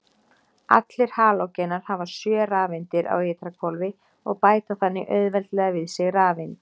Allir halógenar hafa sjö rafeindir á ytra hvolfi og bæta þannig auðveldlega við sig rafeind.